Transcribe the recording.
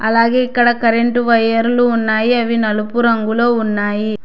అలాగే ఇక్కడ కరెంటు వైర్లు ఉన్నాయి అవి నలుపు రంగులో ఉన్నాయి.